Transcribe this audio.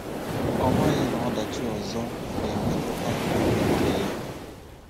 Ọ maghị na ọdachi ọzọ ga- emetụta ahụ ike ya!